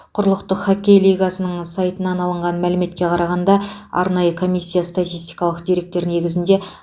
құрлықтық хоккей лигасының сайтынан алынған мәліметке қарағанда арнайы комиссия статистикалық деректер негізінде